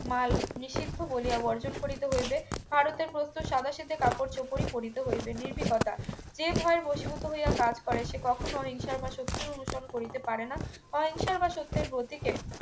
মাল নিষিদ্ধ বলিয়া বর্জন করিতে হইবে ভারতে প্রস্তুত সাদাসিধে কাপড়চোপড়ই করিতে হইবে নির্ভীকতা যে ভয়ে বশীভূত হইয়া কাজ করে সে কখনোই হিংসার পাশে উত্তীর্ণ অনুসরণ করিতে পারেনা অহিংসা বা সত্যের ব্রতিকে